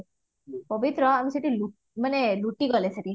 ପବିତ୍ର ମାନେ ଲୁଟିଆ ଗଲେ ସେଠି